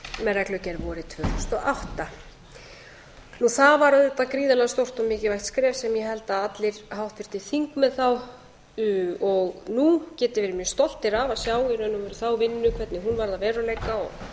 reglugerð vorið tvö þúsund og átta það var auðvitað gríðarlega stórt og mikilvægt skref sem ég held að allir háttvirtir þingmenn þá og nú geti verið mjög stoltir af að sjá í raun og veru þá vinnu hvernig hún varð að veruleika og